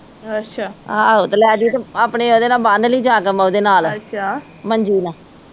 ਆਹੋ ਤੇ ਲੇਜੀ ਤੇ ਆਪਣੇ ਓਦੇ ਨਾਲ ਬੰਨਲੀ ਜਾ ਕੇ ਓਦੇ ਨਾਲ ਮੰਜੀ ਨਾਲ